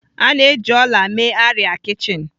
A na-eji ọla mee arịa kichin.